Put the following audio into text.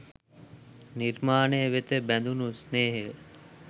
නිර්මාණය වෙත බැඳුණු ස්නේහය